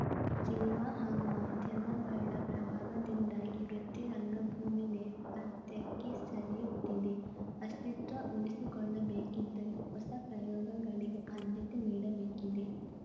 cinema ಹಾಗೂ ಮಾಧ್ಯಮಗಳ ಪ್ರಭಾವದಿಂದಾಗಿ ವೃತ್ತಿ ರಂಗಭೂಮಿ ನೇಪಥ್ಯಕ್ಕೆ ಸರಿಯುತ್ತಿದೆ ಅಸ್ತಿತ್ವ ಉಳಿಸಿಕೊಳ್ಳಬೇಕಿದ್ದರೆ ಹೊಸ ಪ್ರಯೋಗಗಳಿಗೆ ಆದ್ಯತೆ ನೀಡಬೇಕಿದೆ